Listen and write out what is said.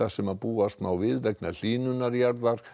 sem búast má við vegna hlýnunar jarðar